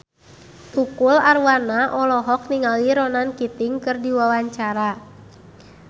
Tukul Arwana olohok ningali Ronan Keating keur diwawancara